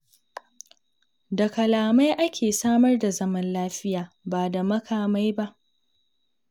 Da kalamai ake samar da zaman lafiya, ba da makamai ba.